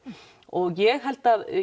og ég held að